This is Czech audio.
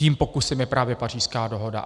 Tím pokusem je právě Pařížská dohoda.